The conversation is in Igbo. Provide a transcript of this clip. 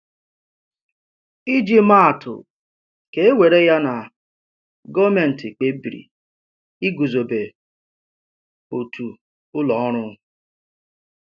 Íjì màà atụ: Kà e wèrè ya na gọọmenti kpebìrì ịgùzòbé otu ụlọ ọrụ.